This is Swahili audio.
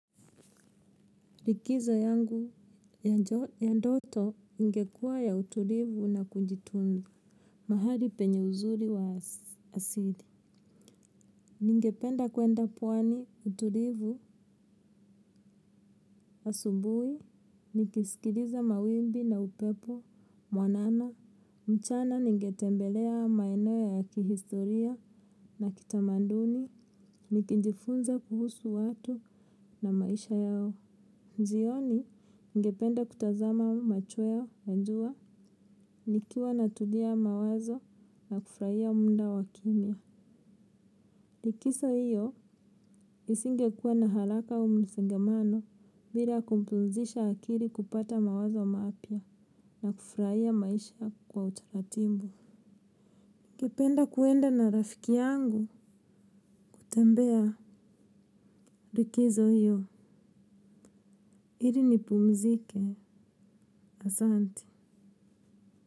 Likizo yangu ya ndoto ingekuwa ya utulivu na kujitunza mahali penye uzuri wa asili. Ningependa kwenda pwani utulivu asubuhi, nikisikiliza mawimbi na upepo, mwanana, mchana ningetembelea maeneo ya kihistoria na kitamanduni, nikijifunza kuhusu watu na maisha yao. Jioni ngependa kutazama machweo, ya jua, nikiwa natulia mawazo na kufuraia muda wa kimya. Likiso hiyo isingekua na halaka au msengamano bila kumpumzisha akiri kupata mawazo mapya na kufuraia maisha kwa utaratimbu. Ngependa kuenda na rafiki yangu kutembea rikizo hiyo. Iri nipumzike, asanti.